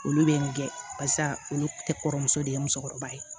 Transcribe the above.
Olu bɛ nin kɛ barisa olu tɛ kɔrɔmuso de ye musokɔrɔba ye